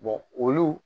olu